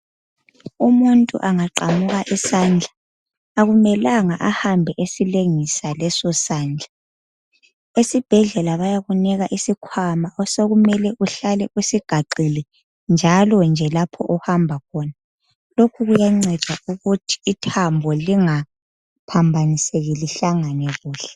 Umuntu angaqamuka isandla akumelanga ahambe esilengisa leso sandla esibhedlela bayakunika isikhwama osekumele uhlale usigaxile njalonje lapho ohamba khona lokhu kuyanceda ukuthi ithambo lingaphambaniseki lihlangane kuhle .